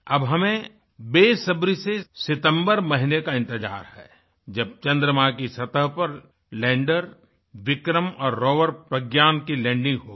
अब हमें बेसब्री से सितम्बर महीने का इंतजार है जब चंद्रमा की सतह पर लैंडर विक्रम और रोवर प्रज्ञान की लैंडिंग होगी